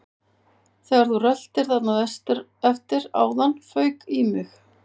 Þegar þú röltir þarna vestur eftir áðan fauk í mig